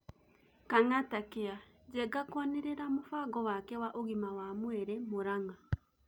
Kang'atacare: Njenga kwanĩrĩra mũbango wake wa ũgima wa mwĩrĩ Mũrang'a